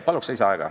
Palun lisaaega!